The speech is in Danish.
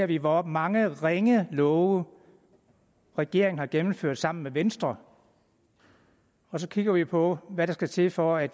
vi hvor mange ringe love regeringen har gennemført sammen med venstre og så kigger vi på hvad der skal til for at